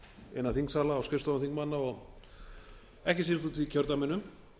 innan þingsalar og skrifstofum þingmanna og ekki síst úti í kjördæminu